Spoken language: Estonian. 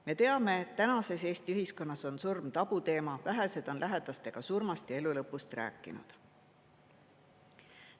Me teame, et tänases Eesti ühiskonnas on surm tabuteema, vähesed on lähedastega surmast ja elu lõpust rääkinud.